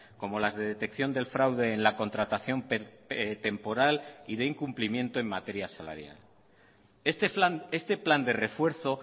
como las de detección del fraude en la contratación temporal y de incumplimiento en materia salarial este plan de refuerzo